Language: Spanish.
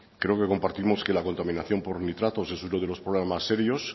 creo que compartimos que la contaminación por nitratos es uno de los problemas más serios